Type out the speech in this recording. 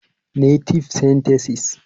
Native Sentences